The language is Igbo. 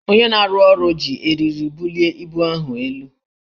Onye na-arụ ụlọ ji eriri bulie ibu ahụ elu